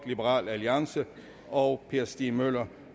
og per stig møller